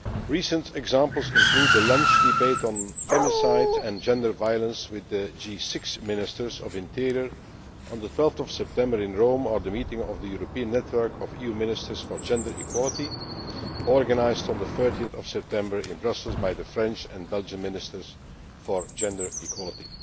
Recent examples include the lunch debate on femicide and gender violence with the G6 Ministers of the Interior on 12 September in Rome, or the meeting of the European Network of EU Ministers for Gender Equality organised on 30 September in Brussels by the French and Belgian Ministers for Gender Equality.